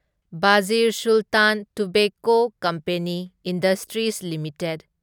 Bashir Sultan tobacco company industries limited